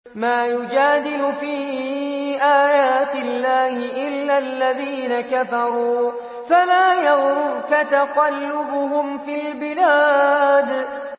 مَا يُجَادِلُ فِي آيَاتِ اللَّهِ إِلَّا الَّذِينَ كَفَرُوا فَلَا يَغْرُرْكَ تَقَلُّبُهُمْ فِي الْبِلَادِ